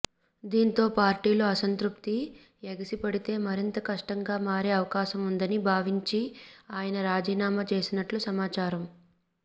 దీంతో పార్టీలో అసంతృప్తి ఎగిసిపడితే మరింత కష్టంగా మారే అవకాశం ఉందని భావించి ఆయన రాజీనామా చేసినట్లు సమాచారం